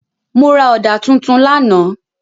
Mo ra ọ̀dà tuntun lánàá.